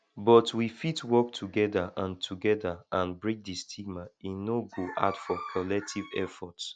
but we fit work together and together and break di stigma e no go hard for collective efforts